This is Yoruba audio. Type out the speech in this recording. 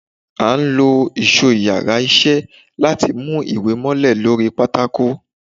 a o lo ìsó íyarà iṣẹ latí mú ìwè mòlè sorí pàtàkó